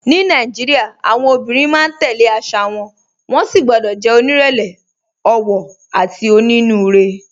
Ní Nàìjíríà, àwọn obìnrin máa ń tẹ̀ lé àṣà wọn, wọ́n sì gbọ́dọ̀ jẹ́ onírẹ̀lẹ̀, ọ̀wọ̀, àti onínúure.